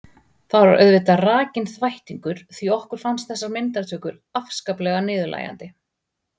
Það var auðvitað rakinn þvættingur því okkur fannst þessar myndatökur afskaplega niðurlægjandi.